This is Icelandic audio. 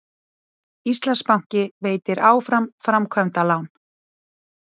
Íslandsbanki veitir áfram framkvæmdalán